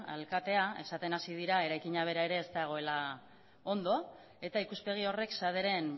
alkatea esaten hasi dira eraikina bera ere ez dagoela ondo eta ikuspegi horrek saderen